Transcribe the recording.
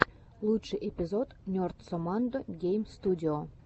лучший эпизод нерд соммандо гейм студио